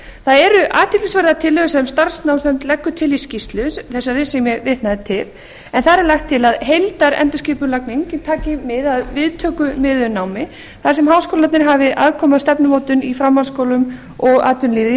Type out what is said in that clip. það eru athyglisverðar tillögur sem starfsnámsnefnd leggur til í skýrslu þá sem vitnað er til en þar er lagt til að heildarendurskipulagning taki mið af viðtökumiðuðu námi þar sem háskólarnir hafi aðkomu að stefnumótun í framhaldsskólum og atvinnulífi í